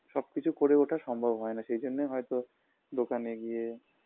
সবকিছু করে ওঠা সম্ভব হয় না সেজন্যে হয়তো দোকানে গিয়ে